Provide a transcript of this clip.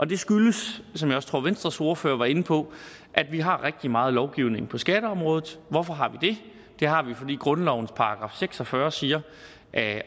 det skyldes som jeg også tror venstres ordfører var inde på at vi har rigtig meget lovgivning på skatteområdet og hvorfor har vi det det har vi fordi grundlovens § seks og fyrre siger